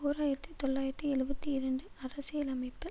ஓர் ஆயிரத்தி தொள்ளாயிரத்தி எழுபத்தி இரண்டு அரசியலமைப்பு